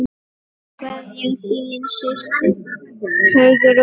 Kveðja, þín systir, Hugrún.